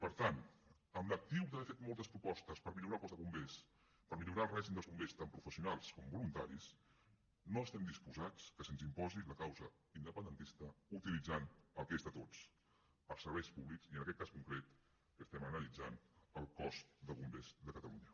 per tant amb l’actiu d’haver fet moltes propostes per millorar el cos de bombers per millorar el règim dels bombers tant professionals com voluntaris no estem disposats que se’ns imposi la causa independentista utilitzant el que és de tots els serveis públics i en aquest cas concret que estem analitzant el cos de bombers de catalunya